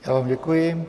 Já vám děkuji.